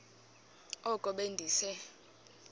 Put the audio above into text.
oko be ndise